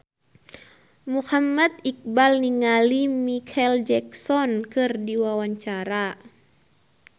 Muhammad Iqbal olohok ningali Micheal Jackson keur diwawancara